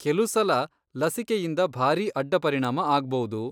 ಕೆಲುಸಲ ಲಸಿಕೆಯಿಂದ ಭಾರೀ ಅಡ್ಡಪರಿಣಾಮ ಆಗ್ಬೌದು.